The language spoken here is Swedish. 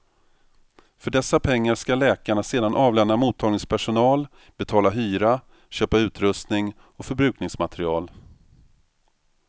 För dessa pengar skall läkarna sedan avlöna mottagningspersonal, betala hyra, köpa utrustning och förbrukningsmateriel.